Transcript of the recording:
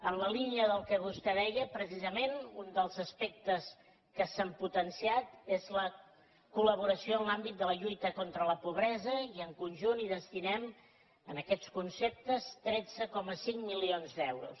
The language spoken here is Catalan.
en la línia del que vostè deia precisament un dels aspectes que s’han potenciat és la coll’àmbit de la lluita contra la pobresa i en conjunt hi destinem a aquests conceptes tretze coma cinc milions d’euros